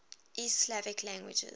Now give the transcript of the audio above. east slavic languages